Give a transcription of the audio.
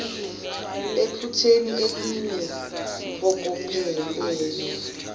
ephupheni eliyi mpokophelelo